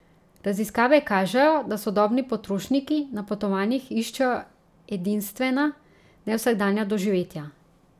Raziskave kažejo, da sodobni potrošniki na potovanjih iščejo edinstvena, nevsakdanja doživetja.